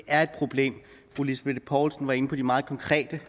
fru lisbeth poulsen var inde på de meget konkrete